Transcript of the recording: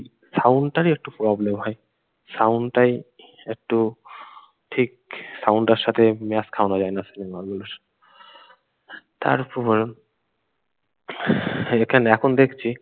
sound টারই একটু problem হয় sound টাই একটু ঠিক sound টার সাথে match খওয়ানো যায় না তারপর এখানে এখন দেখছি।